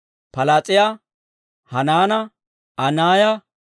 Palaas'iyaa, Hanaana, Anaaya,